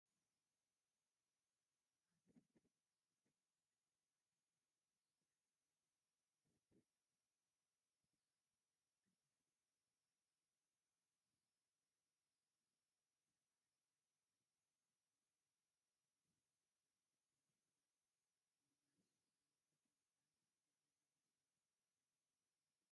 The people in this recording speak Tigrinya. ኣብዚ ሰለስተ ደቂ ኣንስትዮ ኣብ ሓደ መኣዲ ኮፍ ኢለን መጽሓፍ ወይ ደፍተር ዝመስል ሰነድ እናጠመታ ክዛተያ ይረኣያ። ኩሎም ኣብ ባህርያዊ ሓጎስ ዝረኣዩን ኣብ ትምህርቲ ወይልምምድ ዝመስል ንጥፈት ዝተዋፈሩን ይመስሉ። እቶም ኣብ ስእሊ ዘለዉ ሰባት እንታይ ዝገብሩ ይመስሉ?